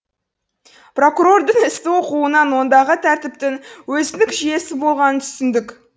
прокурордың істі оқуынан ондағы тәртіптің өзіндік жүйесі болғанын түсіндік